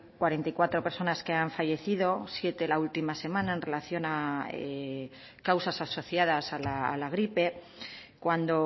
cuarenta y cuatro personas que han fallecido siete la última semana en relación a causas asociadas a la gripe cuando